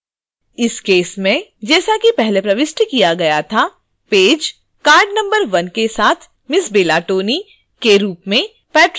इस केस में जैसा कि पहले प्रविष्ट किया गया था पेज card number 1 के साथ ms bella tony के रूप में patron है